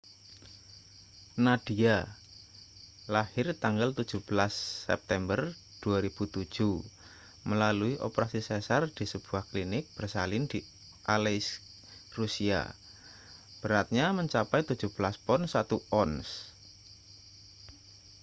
nadia lahir tanggal 17 september 2007 melalui operasi sesar di sebuah klinik bersalin di aleisk rusia beratnya mencapai 17 pon 1 ons